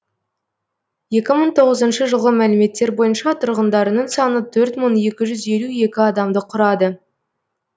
екі мың тоғызыншы жылғы мәліметтер бойынша тұрғындарының саны төр мың екі жүз елу екі адамды құрады